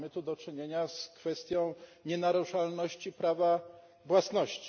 Mamy tu do czynienia z kwestią nienaruszalności prawa własności.